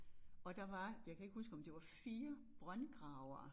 Og der var jeg kan ikke huske om det var 4 brøndgravere